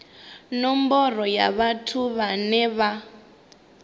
nomboro ya vhathu vhane vha